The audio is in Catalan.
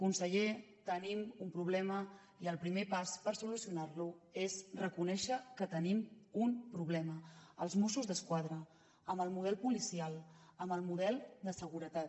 conseller tenim un problema i el primer pas per solucionar lo és reconèixer que tenim un problema als mossos d’esquadra amb el model policial amb el model de seguretat